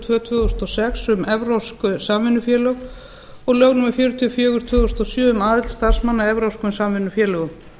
tvö tvö þúsund og sex um evrópsk samvinnufélög og lög númer fjörutíu og fjögur tvö þúsund og sjö um aðild starfsmanna að evrópskum samvinnufélögum